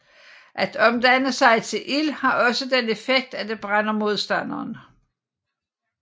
At omdanne sig til ild har også den effekt at det brænder modstanderen